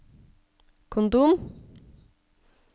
kondom